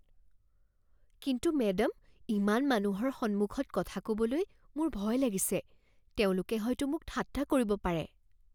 কিন্তু মেডাম, ইমান মানুহৰ সন্মুখত কথা ক'বলৈ মোৰ ভয় লাগিছে। তেওঁলোকে হয়তো মোক ঠাট্টা কৰিব পাৰে।